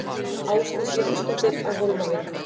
Ásdís Jónsdóttir á Hólmavík